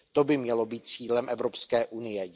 To by mělo být cílem Evropské unie.